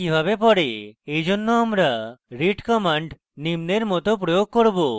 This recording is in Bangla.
এইজন্য আমরা read command নিম্নের মত প্রয়োগ করব: